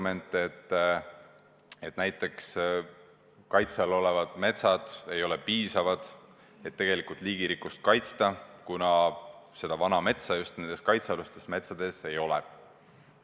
Miks me ei kuule, et kaitse all olevad metsad ei ole piisavalt suured, et tegelikult liigirikkust kaitsta, ja et vana metsa nendes kaitsealustes metsades ei ole?